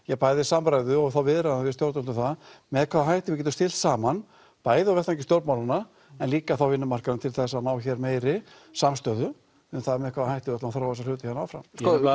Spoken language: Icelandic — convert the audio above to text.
bæði samræðum og viðræðum við stjórnvöld með hvaða hætti við getum stillt saman bæði á vettvangi stjórnmálanna en líka á vinnumarkaðnum til að ná hér meiri samstöðu um með hvaða hætti við ætlum að þróa þessa hluti hér áfram